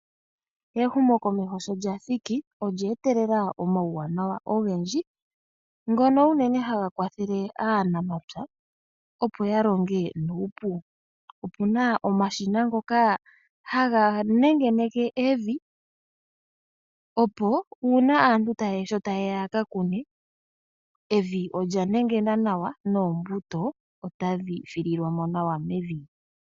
Ehumokomeho sho lya thiki olye etelela omawuwanawa ogendji. Ngono uunene haga kwathele aanamapya opo ya longe nuupu. Opuna omashina ngoka haga nenge neke evi opo una aantu sho tayeya yaka kune evi olya nengena nawa noombuto otadhi fililwa mo nawa mevi.